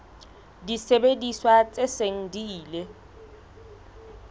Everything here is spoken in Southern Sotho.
disebediswa tse seng di ile